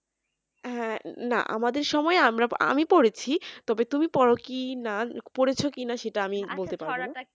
হ্যাঁ না আমাদের সময়ে আমরা আমি পড়েছি তবে তুমি পড়ো কি না পড়েছো কিনা সেটা আমি বলতে পারবোনা আচ্ছা ছড়াটা এক